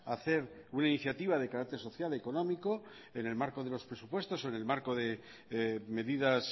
a hacer una iniciativa de carácter social económico en el marco de los presupuestos o en el marco de medidas